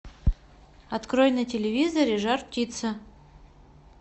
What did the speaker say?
открой на телевизоре жар птица